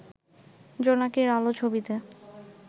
'জোনাকীর আলো' ছবিতে